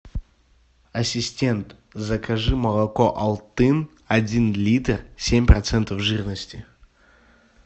ассистент закажи молоко алтын один литр семь процентов жирности